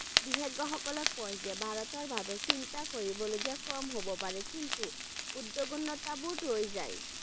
বিশেষজ্ঞ সকলে কয় যে ভাৰতৰ বাবে চিন্তা কৰিব লগীয়া কম হ'ব পাৰে কিন্তু উদ্বিগ্নতাবোৰ ৰৈ যায়।